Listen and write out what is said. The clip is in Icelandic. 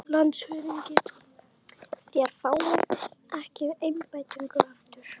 LANDSHÖFÐINGI: Þér fáið ekki embættið aftur